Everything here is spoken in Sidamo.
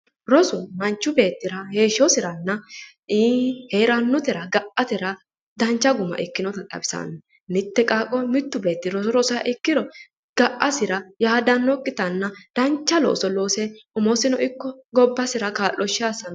Rosu manchu beettira heeshshosiranna heerannotera ga'atera dancha guma ikkinoha xawisaanno. Mitte qaaqqo woy mittu qaaqqi roso rosiha ikkiro ga'asira yaadannokkitanna dancha looso loose umisino ikko gobbasira kaa'looshshe assanno.